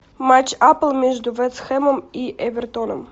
матч апл между вест хэмом и эвертоном